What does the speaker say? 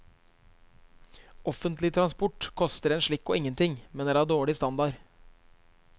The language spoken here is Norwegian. Offentlig transport koster en slikk og ingenting, men er av dårlig standard.